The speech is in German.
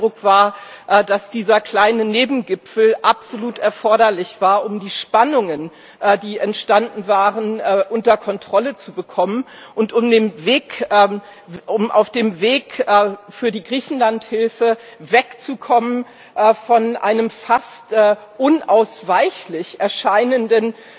Denn mein Eindruck war, dass dieser kleine Nebengipfel absolut erforderlich war, um die Spannungen, die entstanden waren, unter Kontrolle zu bekommen und um auf dem Weg für die Griechenlandhilfe wegzukommen von einem fast unausweichlich erscheinenden